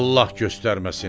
Allah göstərməsin.